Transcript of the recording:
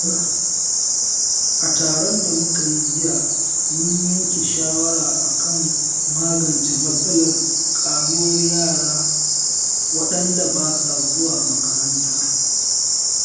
A taron da muka yi jiya mun yanke shawara kan magance matsalar ƙaruwar yara waɗanda ba sa zuwa makaranta.